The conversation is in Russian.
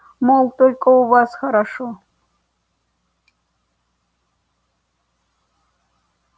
мол только у вас хорошо